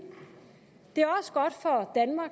det